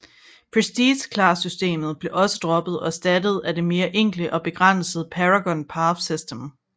Prestige Class systemet blev også droppet og erstattet af det mere enkle og begrænsede Paragon Path system